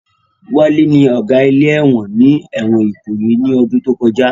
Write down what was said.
Wálé ní Ọ̀gá ilé ẹ̀wọ̀n ní ẹ̀wọ̀n Ìkòyí ní ọdún tó kọjá